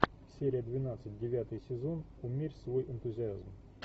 серия двенадцать девятый сезон умерь свой энтузиазм